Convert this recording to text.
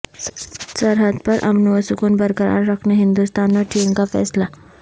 سرحد پر امن و سکون برقرار رکھنے ہندوستان اور چین کا فیصلہ